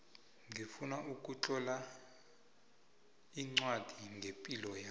ngifuna ukutlola ncwadi ngepilo yami